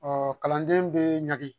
Ɔ kalanden bee ɲage